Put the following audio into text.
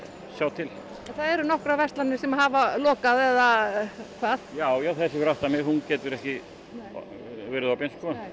sjá til það eru nokkrar verslanir sem hafa lokað eða hvað já þessi fyrir aftan mig hún getur ekki verið opin